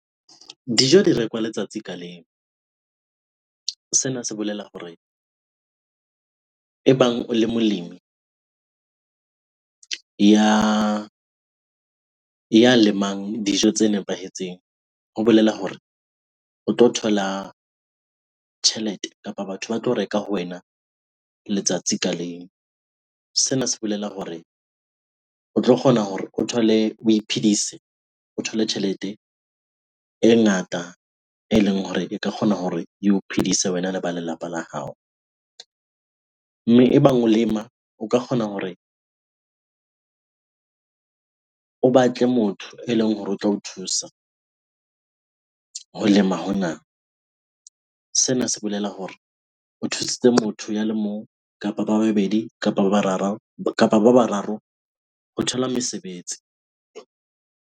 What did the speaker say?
Dijo di rekwa letsatsi ka leng. Sena se bolela hore ebang o le molemi ya lemang dijo tse nepahetseng, ho bolela hore o tlo thola tjhelete kapa batho ba tlo reka ho wena letsatsi ka leng. Sena se bolela hore o tlo kgona hore o thole, o iphedise, o thole tjhelete e ngata eleng hore e ka kgona hore eo phidise wena le ba lelapa la hao. Mme ebang o lema o ka kgona hore o batle motho eleng hore o tla o thusa ho lema hona. Sena se bolela hore o thusitse motho ya le mong kapa ba babedi kapa ba bararo ho thola mesebetsi.